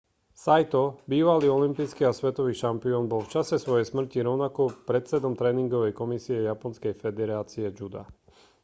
saito bývalý olympijský a svetový šampión bol v čase svojej smrti rovnako predsedom tréningovej komisie japonskej federácie juda